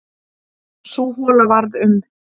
Sú hola varð um